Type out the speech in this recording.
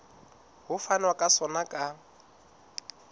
ho fanwa ka sona ka